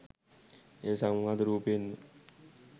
එය සංවාද රූපයෙන්ම